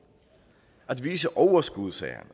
at vise overskud sagde